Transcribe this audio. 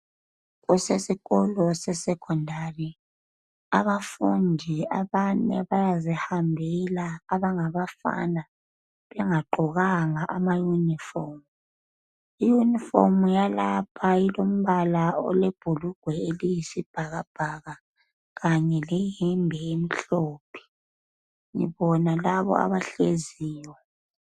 Kusesikolo se secondary. Abafundi abane bayazihambela abangabafana bengagqokanga amayunifomu. Iyunifomu yalapha ilombala olebhulugwe eliyisibhakabhaka kanye leyembe emhlophe. Ngibona labo abahleziyo.